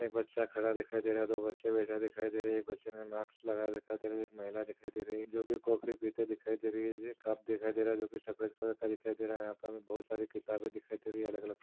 एक बच्छा खड़ा दिखाई दे रहा दो बच्छे बैठे दिखाई दे रहे एक बच्छे ने मास्क लगा रखा है एक महिला दिखाई दे रही जो की कॉफी पीते दिखाई दे रही है कप दिखाई दे रहा है जो की सफ़ेद कलर का दिखाई दे रहा है यहा पे बहुत सारी किताबे दिखाई दे रही है अलग-अलग प्र--